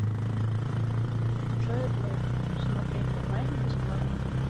джо блэк смотреть онлайн бесплатно